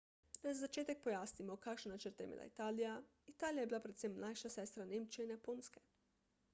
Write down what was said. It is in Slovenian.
naj za začetek pojasnimo kakšne načrte je imela italija italija je bila predvsem mlajša sestra nemčije in japonske